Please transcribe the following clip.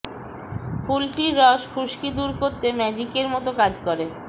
ফুলটির রস খুশকি দূর করতে ম্যাজিকের মতো কাজ করে